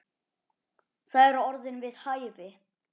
Það eru orð við hæfi.